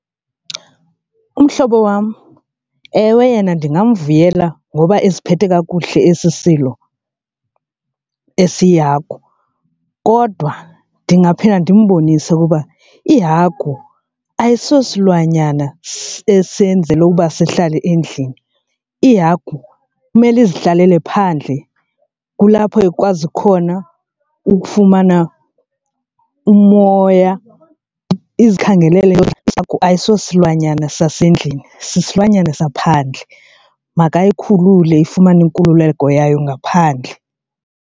Umhlobo wam ewe yena ndingamvuyela ngoba esiphethwe kakuhle esi silo esiyihagu, kodwa ndingaphinde ndimbonise ukuba ihagu ayisosilwanyana esenzelwe uba sihlale endlini. Ihagu kumele izihlalele phandle kulapho ikwazi khona ukufumana umoya izikhangelele . Ihagu ayisosilwanyana sasendlini sisilwanyana saphandle, makayikhulule ifumane inkululeko yayo ngaphandle.